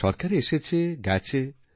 সরকার এসেছে গেছে